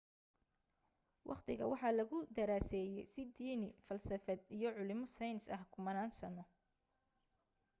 waqtiga waxaa lagu daraseyey si diini falsafad iyo culimo saynis ah kumanan sano